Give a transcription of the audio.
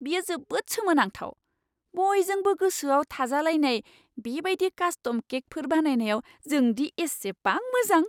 बेयो जोबोद सोमोनांथाव! बयजोंबो गोसोआव थाजालायनाय बे बायदि कास्टम केकफोर बानायनायाव जों दि एसेबां मोजां!